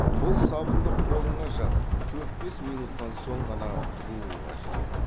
бұл сабынды қолыңа жағып төрт бес минуттан соң ғана жуу қажет